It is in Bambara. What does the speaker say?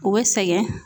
U bɛ sɛgɛn